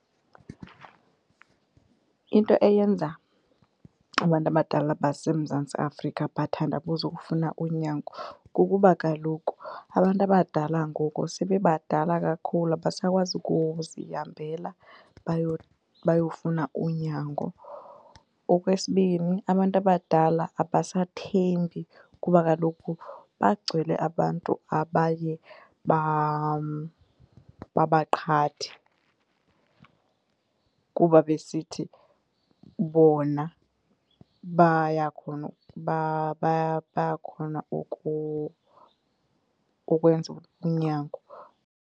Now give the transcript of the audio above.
Into eyenza abantu abadala baseMzantsi Afrika bathandabuze ukufuna unyango kukuba kaloku abantu abadala ngoku sebebadala kakhulu abasakwazi ukuzihambela bayofuna unyango. Okwesibini, abantu abadala abasathembi kuba kaloku bagcwale abantu abaye babaqhathe, kuba besithi bona bayakhona bayakhona ukwenza unyango.